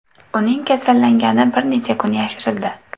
Uning kasallangani bir necha kun yashirildi .